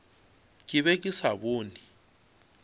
ke be ke sa bone